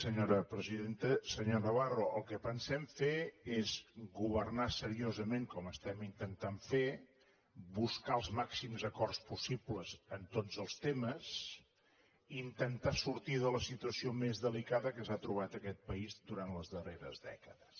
senyor navarro el que pensem fer és governar seriosament com ho intentem fer buscar els màxims acords possibles en tots els temes i intentar sortir de la situació més delicada que s’ha trobat aquest país durant les darreres dècades